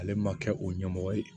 Ale ma kɛ o ɲɛmɔgɔ ye